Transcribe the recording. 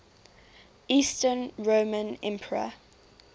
eastern roman emperor